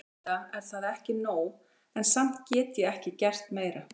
Auðvitað er það ekki nóg, en samt get ég ekki gert meira.